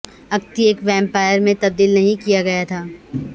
اختی ایک ویمپائر میں تبدیل نہیں کیا گیا تھا